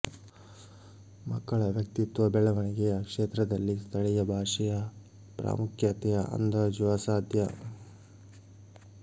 ಮಕ್ಕಳ ವ್ಯಕ್ತಿತ್ವ ಬೆಳವಣಿಗೆಯ ಕ್ಷೇತ್ರದಲ್ಲಿ ಸ್ಥಳೀಯ ಭಾಷೆಯ ಪ್ರಾಮುಖ್ಯತೆಯ ಅಂದಾಜು ಅಸಾಧ್ಯ